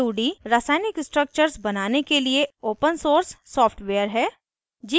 gchempaint 2d रासायनिक structures बनाने के लिए open source सॉफ्टवेयर है